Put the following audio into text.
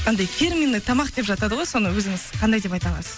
анандай фирменный тамақ деп жатады ғой соны өзіңіз қандай деп айта аласыз